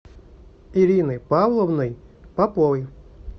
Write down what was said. ириной павловной поповой